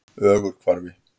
Ögurhvarfi